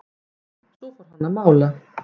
Svo fór hann að mála.